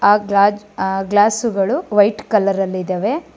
ಆ ಗಾಜ ಆ ಗ್ಲಾಸ್ಸು ಗಳು ವೈಟ್ ಕಲರ ರಲ್ಲಿದಾವೆ.